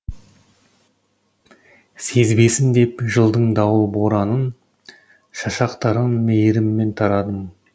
сезбесін деп жылдың дауыл боранын шашақтарын мейіріммен тарадым